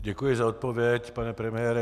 Děkuji za odpověď, pane premiére.